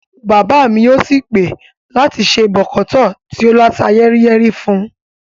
Bàbá mi yóò sì pè láti se bọ̀kọ̀tọ́ọ̀ tí ó láta yẹ́ríyẹ́rí fún un